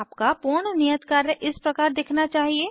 आपका पूर्ण नियत कार्य इस प्रकार दिखना चाहिए